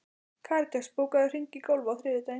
Karitas, bókaðu hring í golf á þriðjudaginn.